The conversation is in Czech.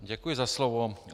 Děkuji za slovo.